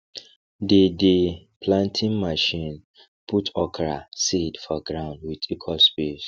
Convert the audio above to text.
dey dey planting machine put okra seed for ground with equal space